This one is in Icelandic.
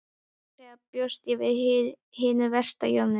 Satt að segja bjóst ég við hinu versta Jón minn.